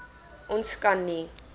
ons kan nie